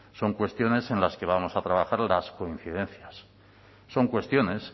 son cuestiones en las que vamos a trabajar las coincidencias son cuestiones